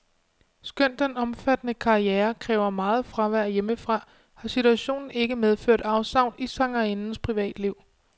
Skønt den omfattende karriere kræver meget fravær hjemmefra, har situationen ikke medført afsavn i sangerindens privatliv.